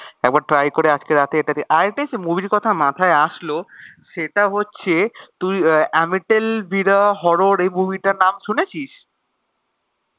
একবার try করে আজকে রাতে আরেকটা জানিস movie এর কথা মাথায় আসলো সেটা হচ্ছে তুই অ্যামিটেল বি দ্য হরর এই movie টার নাম শুনেছিস?